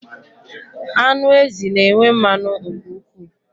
Anụ ezi na enwe mmanụ nke ụkwụ